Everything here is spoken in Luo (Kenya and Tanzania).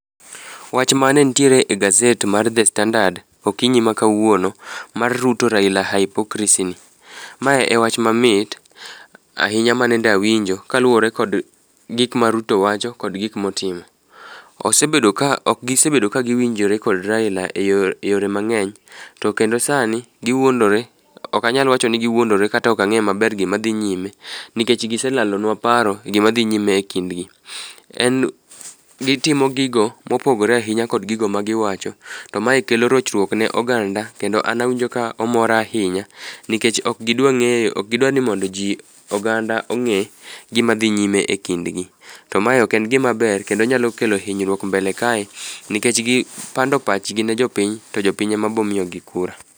Wach mane nitiere e gaset mar The Standard okinyi ma kawuono mar Ruto Raila hypocricy ni, ma e wach mamit ahinya manende awinjo kaluore kod gik ma Ruto wacho kod gik motimo. Ok gisebedo kagiwinjore kod Raila e yore mang'eny, to kendo sani giwuondore, ok anyal wacho ni giwuondore kata ok ang'eyo maber gima dhi nyime, nikech giselalonwa paro gima dhi nyime e kindgi. Gitimo gigo mopogore ahinya kod gigo magiwacho, to mae kelo rochruok ne oganda kendo an awinjo ka omora ahinya nikech ok gidwa ni mondo ji ,oganda ong'e gima dhi nyime e kindgi. To mae ok en gimaber kendo nyalo kelo hinyruok mbele kae nikech gipando pachgi ne jopiny, to jopiny ema bomiyogi kura.